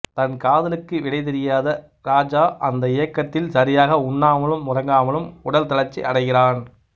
தன் காதலுக்கு விடை தெரியாத இராஜா அந்த ஏக்கத்தில் சரியாக உண்ணாமலும் உறங்காமலும் உடல் தளர்ச்சி அடைகிறான்